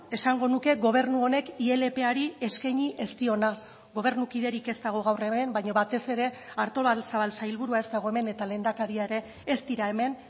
esango nuke gobernu honek ilpari eskaini ez diona gobernukiderik ez dago gaur hemen baina batez ere artolazabal sailburua ez dago hemen eta lehendakaria ere ez dira hemen